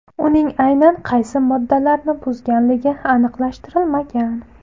Uning aynan qaysi moddalarni buzganligi aniqlashtirilmagan.